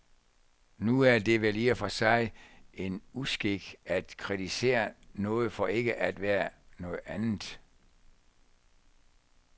Nu er det vel i og for sig en uskik at kritisere noget for ikke at være noget andet.